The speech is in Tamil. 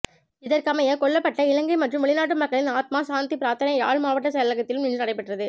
இதற்கமைய கொல்லப்பட்ட இலங்கை மற்றும் வெளிநாட்டு மக்களின் ஆத்மா சாந்தி பிராத்தனை யாழ் மாவட்ட செயலகத்திலும் இன்றுநடைபெற்றது